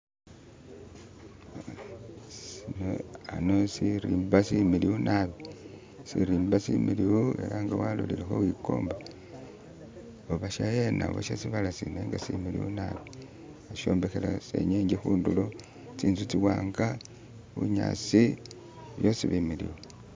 khano shirimba shimiliyu naabi shirimba shimiliyu ela nga walolilekho wikomba oba shahena oba she sibaala similiyu nabi bashombekela senyenge khundulo, tsinzu tsiwanga, bunyaasi byosi bimiliyu.